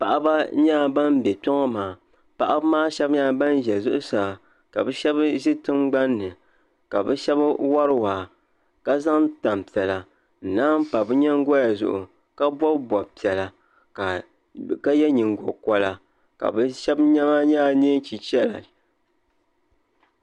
Paɣaba nyɛla ban bɛ kpeoɔ maa paɣi maa shɛbi zitingban- ni ka bɛ shɛb wari waa ka zan tanpiɛla n naaŋ pa bɛ nyiŋgooua zʋɣu ka bɔbi bɔbipiɛla ka yɛ nyingo kora bɛ shɛb nema nyɛla neentichera